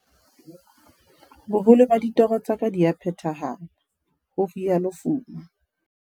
"Boholo ba ditoro tsa ka di a phethahala," ho rialo Fuma.